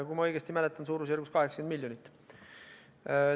Kui ma õigesti mäletan, oli see umbes 80 miljonit eurot.